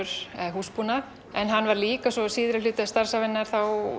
húsbúnað en hann var líka síðari hluta starfsævinnar